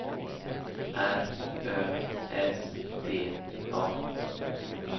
R Ö S T A